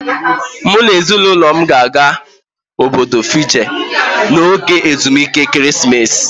M na ezinaụlọ m ga-aga Obodo Fiji n'oge ezumike ekeresimesi